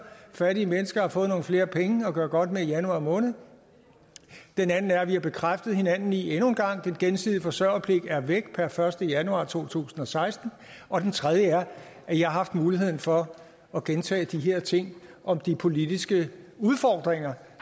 fattige mennesker har fået nogle flere penge at gøre godt med i januar måned og den anden er at vi har bekræftet hinanden i endnu en gang at den gensidige forsørgerpligt er væk per første januar to tusind og seksten og den tredje er at i har haft muligheden for at gentage de her ting om de politiske udfordringer